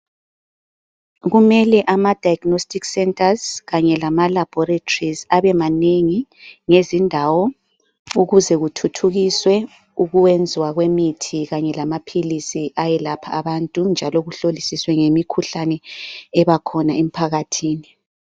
Kumele ama diagnostic centers kanye lama laboratories abemanengi ngezindawo ukuze kuthuthukiswe ukwenziwa kwemithi kanye lamaphilisi ayelapha abantu. Kunjalo kuhlolisiswe ngemikhuhlane ebakhona emphakathini.